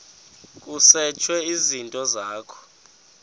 kusetshwe izinto zakho